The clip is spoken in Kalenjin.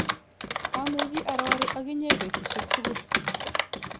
Amuchi arori ak inye petusiek tugul